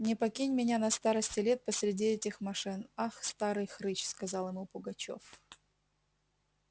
не покинь меня на старости лет посреди этих мошен ах старый хрыч сказал ему пугачёв